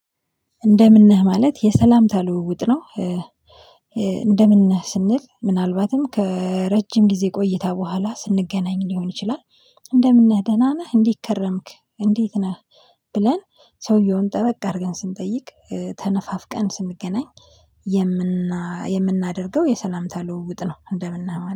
እንደምን ነህ? ማለት የሰላምታ ልውውጥ ነው። እንደምን ነህ? ስንል ምናልባትም ከረጅም ጊዜ ቆይታ በኋላ ስንገናኝ ሊሆን ይችላል እንደምን ነህ? ደህና ነህ? እንዴት ከረምክ? እንዴት ነህ? ብለን ሰውየውን ጠበቅ አድርገን ስንጠይቅ ተነፋፍቀን ስንገናኝ የምናደርገው የሰላምታ ልውውጥ ነው እንደምነህ ማለት